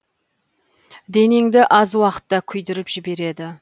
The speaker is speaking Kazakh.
денеңді аз уақытта күйдіріп жібереді